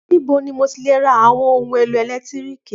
Níbo ni mo ti le ra àwọn ohun-èlò ẹ̀lẹ́tíríkì?